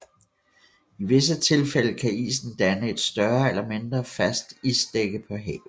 I visse tilfælde kan isen danne et større eller mindre fast isdække på havet